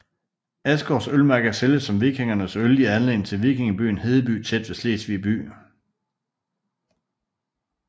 Asgaards ølmærker sælges som vikingernes øl i anledning til vikingebyen Hedeby tæt ved Slesvig by